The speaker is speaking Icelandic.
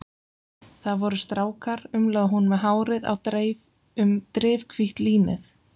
Það voru strákar, umlaði hún með hárið á dreif um drifhvítt línið.